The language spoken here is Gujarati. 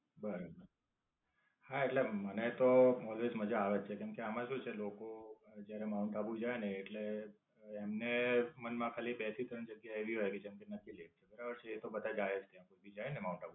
બરોબર, હા એટલે મને તો મજા જ મજા આવે છે કેમકે આમ શું છે લોકો જયારે માઉન્ટ આબુ જાય ને એટલે એમને મન માં ખાલી બે થી ત્રણ જગ્યા એવી રહેલી છે જેમકે નક્કીલેક બરાબર છે એ તો બધા જાય જ છે. પછી જાય ને માઉન્ટ આબુ.